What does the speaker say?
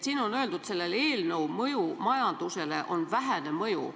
Siin on öeldud, et sellel eelnõul on majandusele vähene mõju.